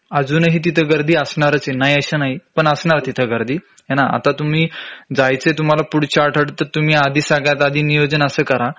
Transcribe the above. अजूनही तिथं गर्दी असणारच आहे नाही अस नाही पण असणार तिथं गर्दी हे ना आता तुम्ही जायचंय तुम्हाला पुढच्या आठवड्यात तर तुम्ही आधी सगळ्यात आधी नियोजन असं करा